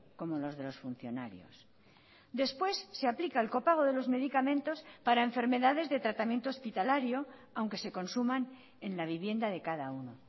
como los de los funcionarios después se aplica el copago de los medicamentos para enfermedades de tratamiento hospitalario aunque se consuman en la vivienda de cada uno